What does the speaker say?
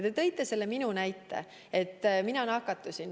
Te tõite selle minu näite, et mina nakatusin.